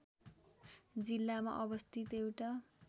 जिल्लामा अवस्थित एउटा